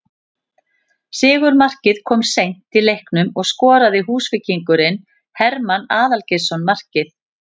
Sigurmarkið kom seint í leiknum og skoraði Húsvíkingurinn Hermann Aðalgeirsson markið